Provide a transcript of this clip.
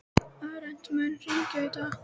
Arent, mun rigna í dag?